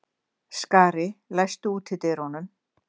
Skari, læstu útidyrunum.